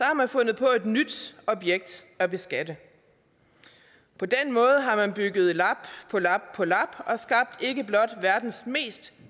har man fundet på et nyt objekt at beskatte på den måde har man lagt lap på lap på lap og skabt ikke blot verdens mest